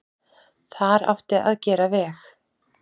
Þar átti að gera veg.